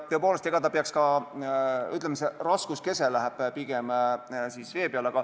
Tõepoolest, ütleme, see raskuskese läheb pigem vee peale.